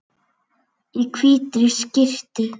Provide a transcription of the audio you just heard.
Í hvítri skyrtu.